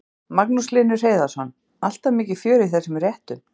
Magnús Hlynur Hreiðarsson: Alltaf mikið fjör í þessum réttum?